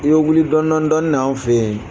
I bɛ wuli dɔnin dɔnin de anw fɛ yen